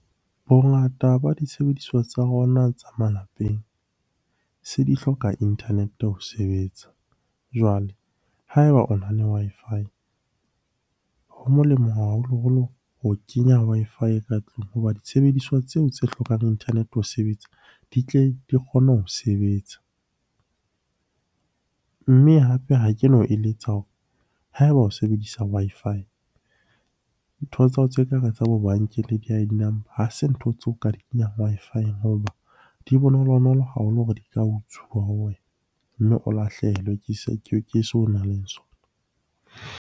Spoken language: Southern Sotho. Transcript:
Bongata ba disebediswa tsa rona tsa malapeng se di hloka internet-e ho sebetsa. Jwale ha eba o na le Wi-Fi ho molemo haholoholo ho kenya Wi-Fi ka tlung hoba disebediswa tseo tse hlokang internet-e ho sebetsa, di tle di kgone ho sebetsa. Mme hape ha ke no eletsa hore ha eba o sebedisa Wi-Fi, ntho tsa hao tse kareng tsa bo bankeng le di-I_D number. Ha se ntho tseo ka di kenyang Wi-Fi-eng hoba di bonolonolo haholo hore di ka utsuwa ho wena, mme o lahlehelwe ke se o nang le sona.